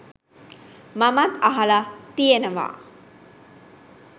මමත් අහල තියෙනවා.